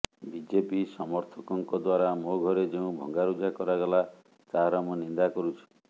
BJP ସମର୍ଥକଙ୍କ ଦ୍ୱାରା ମୋ ଘରେ ଯେଉଁ ଭଙ୍ଗାରୁଜା କରାଗଲା ତାହାର ମୁଁ ନିନ୍ଦା କରୁଛି